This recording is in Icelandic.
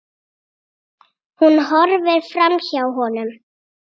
Hún horfir framhjá honum.